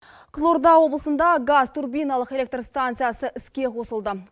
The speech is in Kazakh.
қызылорда облысында газ турбиналық электростанциясы іске қосылды